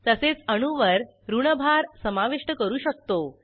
तसेच अणूवर ऋण भार समाविष्ट करू शकतो